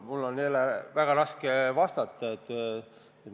Mul on jälle väga raske vastata.